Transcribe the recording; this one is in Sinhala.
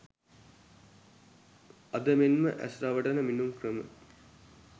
අද මෙන්ම ඇස් රවටන මිණුම් ක්‍රම